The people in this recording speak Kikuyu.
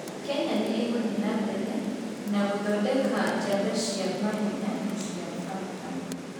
Kenya nĩ ĩgũthiĩ na mbere na gũthondeka njamba cia mahenya na cia barabara.